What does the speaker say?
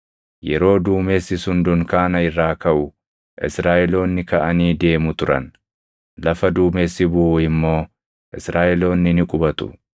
Yeroo duumessi sun dunkaana irraa kaʼu Israaʼeloonni kaʼanii deemu turan; lafa duumessi buʼu immoo Israaʼeloonni ni qubatu.